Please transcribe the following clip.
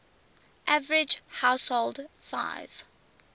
average household size